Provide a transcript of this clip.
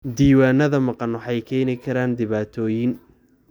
Diiwaanada maqan waxay keeni karaan dhibaatooyin.